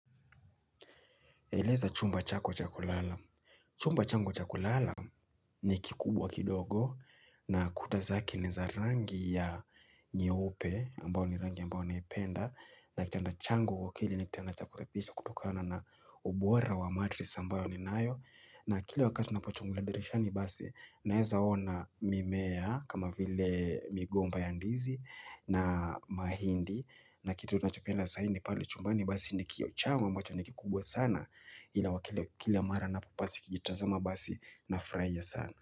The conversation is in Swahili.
Eleza chumba chako chakulala. Chumba changu chakulala ni kikubwa kidogo na kutazake ni za rangi ya nyeupe ambao ni rangi ambao naipenda. Na kitanda changu kwa kile ni kitanda na cha kuridhisha kulingana na ubora wa matress ambayo niliyo nayo. Na kila wakati ninapochungulia dirishani basi naeza ona mimea kama vile migomba ya ndizi na mahindi. Na kitu ninacho penda zaidi pale chumbani basi ni kioo changu ambacho ni kikubwa sana. Kila kila mara napo basi jitazama basi nafurahia sana.